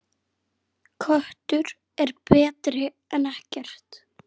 Köttur er betri en ekkert.